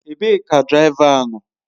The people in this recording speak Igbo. Ebee ka diraịva nọ?